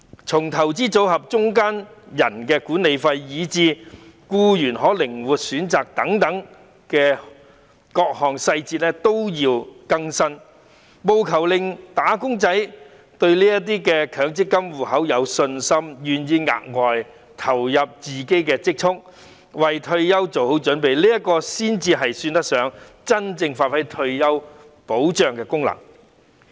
從強積金計劃的管理費至參與僱員的靈活選擇等，各項細節都要更新，務求令"打工仔"對強積金制度有信心，願意額外投入自己的積蓄，為退休做好準備，才算得上真正發揮退休保障的功能。